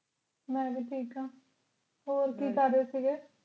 ਮੈਂ ਵੀ ਠੀਕ ਹਾਂ ਹੋਰ ਕਿ ਹਮ ਹੋਰ ਕਿ ਕਰ ਰਹੇ ਸੀਗੇ